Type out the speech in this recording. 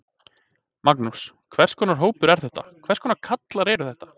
Magnús: Hvers konar hópur er þetta, hvers konar kallar eru þetta?